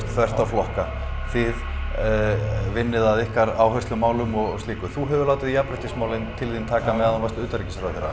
þvert á flokka þið vinnið að ykkar áherslumálum og slíku þú hefur látið jafnréttismálin til þín taka meðan þú varst utanríkisráðherra